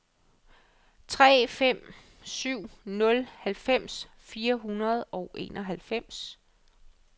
tre fem syv nul halvfems fire hundrede og enoghalvfems